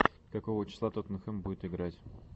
какого числа тоттенхэм будет играть